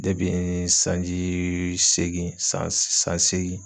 n sanjii seegin san s san seegin